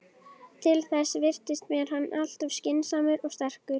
Til þess virtist mér hann alltof skynsamur og sterkur.